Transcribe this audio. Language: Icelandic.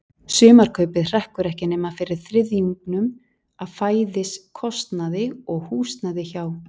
Sumarkaupið hrekkur ekki nema fyrir þriðjungnum af fæðiskostnaði og húsnæði hjá